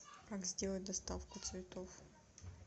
как сделать доставку цветов